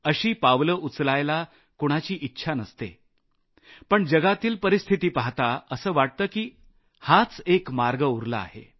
अशी पावलं उचलायला कुणाचीच इच्छा नसते पण जगातील परिस्थिती पाहता असं वाटतं की हाच एक मार्ग उरला आहे